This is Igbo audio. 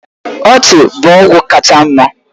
Ọchị bụ ọgwụ kacha mma